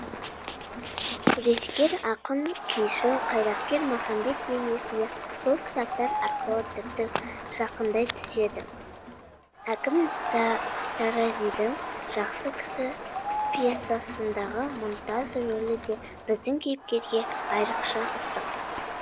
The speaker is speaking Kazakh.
күрескер ақын күйші қайраткер махамбет бейнесіне сол кітаптар арқылы тіпті жақындай түседі әкім таразидің жақсы кісі пьесасындағы мұнтаз рөлі де біздің кейіпкерге айрықша ыстық